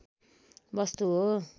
वस्तु हो